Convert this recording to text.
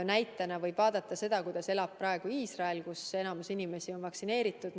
Näitena võib vaadata seda, kuidas elatakse praegu Iisraelis, kus enamik inimesi on vaktsineeritud.